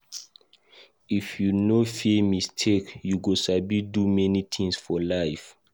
If you no fear mistake, you go sabi do many things for life.